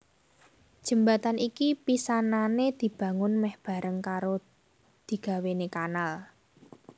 Jembatan iki pisanané dibangun mèh bareng karo digawéné kanal